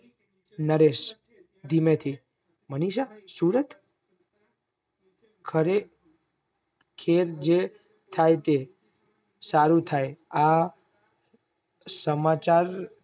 નરેશ ધીમે થી મનીષા સુરત ખરે ખેબ છે થાય તે સારૂ થાય આ સમાચાર